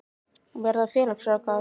Verða félagsráðgjafar?